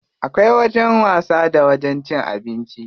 Akwai wajen wasa da wajen cin abinci.